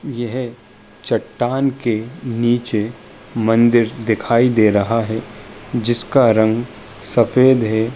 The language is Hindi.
यह चट्टान के नीचे मंदिर दिखाई दे रहा है। जिसका रंग सफ़ेद है।